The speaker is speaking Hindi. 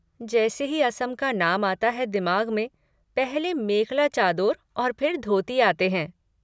जैसे ही असम का नाम आता है दिमाग़ में पहले मेखला चादोर और फिर धोती आते हैं।